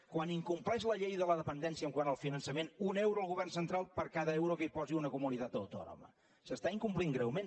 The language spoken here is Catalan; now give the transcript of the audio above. quan incompleix la llei de la dependència quant al finançament un euro el govern central per cada euro que hi posi una comunitat autònoma s’està incomplint greument